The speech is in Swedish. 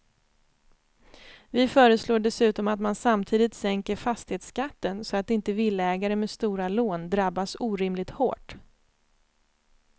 Vi föreslår dessutom att man samtidigt sänker fastighetsskatten så att inte villaägare med stora lån drabbas orimligt hårt.